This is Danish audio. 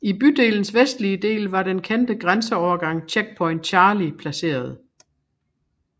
I bydelens vestlige del var den kendte grænseovergang Checkpoint Charlie placeret